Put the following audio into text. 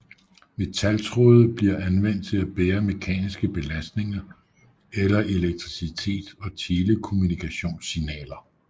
Metaltråde bliver anvendt til at bære mekaniske belastninger eller elektricitet og telekommunikationssignaler